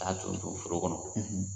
A y'a cun cun foro kɔnɔ,